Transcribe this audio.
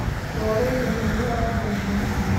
Doreydha xunya aya gashe .